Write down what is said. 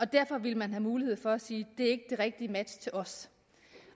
derfor ville man have mulighed for at sige det er ikke det rigtige match til os